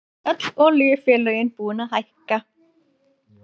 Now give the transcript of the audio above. Öll olíufélögin búin að hækka